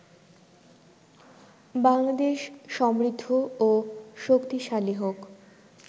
বাংলাদেশ সমৃদ্ধ ও শক্তিশালীহোক